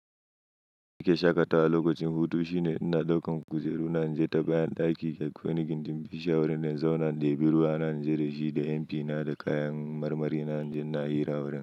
Ni ke shaƙatawa lokacin hutu shine ina ɗaukan kujeru na naje ta bayan ɗaki, dakwai wani gindin bishiyawar ina zauna in ɗebi ruwana naje da shi da MP na da kayan marmari na inje na hira a wurin.